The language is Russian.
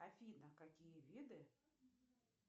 афина какие виды